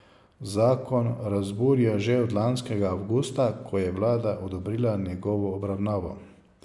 Zakon razburja že od lanskega avgusta, ko je vlada odobrila njegovo obravnavo.